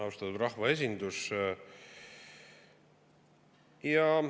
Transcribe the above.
Austatud rahvaesindus!